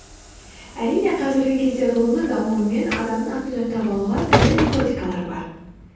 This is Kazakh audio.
әрине қазіргі кезде ғылымның дамуымен адамның атын жаттап алуға түрлі методикалар бар